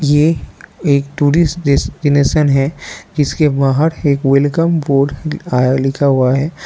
ये एक tourist destination है जिसके बाहर एक वेलकम बोर्ड लिखा हुआ है।